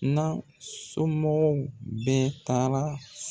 N'.a somɔgɔw bɛ taara